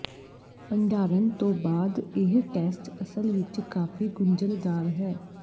ਭੰਡਾਰਨ ਤੋਂ ਬਾਅਦ ਇਹ ਟੈਸਟ ਅਸਲ ਵਿੱਚ ਕਾਫੀ ਗੁੰਝਲਦਾਰ ਹੈ